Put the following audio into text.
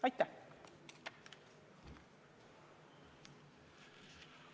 Aitäh!